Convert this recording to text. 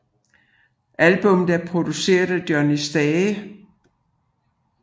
Albummet er produceret af Johnny Stage